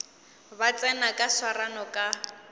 ba tsena ba swarane ka